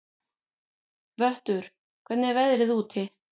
Vöttur, hvernig er veðrið úti?